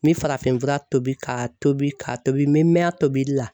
N bɛ farafinfura tobi k'a tobi ka tobi n bɛ mɛɛn a tobili la.